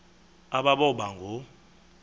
aba boba ngoo